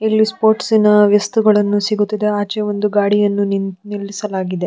ಇಲ್ಲಿ ಸ್ಪೋರ್ಟ್ಸ್ನ ವಸ್ತುಗಳನ್ನು ಸಿಗುತ್ತವೆ ಆಚೆ ಒಂದು ಗಾಡಿಯನ್ನು ನಿ ನಿಲ್ಲಿಸಲಾಗಿದೆ .